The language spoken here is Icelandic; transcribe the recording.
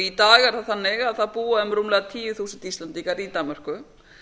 í dag er það þannig að það búa rúmlega tíu þúsund íslendingar í danmörku